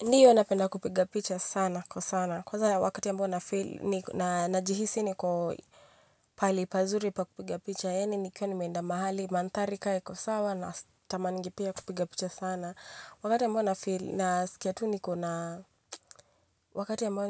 Ndiyo napenda kupiga picha sana, kwa sana. Kwanza wakati ya ambao nafili, najihisi niko pahali pazuri pa kupiga picha. Yaani nikiwa nimeenda mahali, madhari kama iko sawa, natamaningi pia kupiga picha sana. Wakati ambao nafili, nasikia tu nikona, wakati ambao